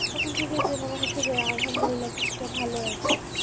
তখন থেকে যে মনে হচ্ছে যে আলহামদুল্লিহা, কিছুটা ভালো আছি